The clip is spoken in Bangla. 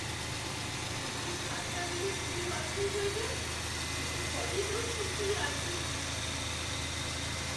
কেকের স্বাদটা যদি ভুল বাছাই হয়ে যায়, সেই ভয়েই তো সিঁটিয়ে আছি।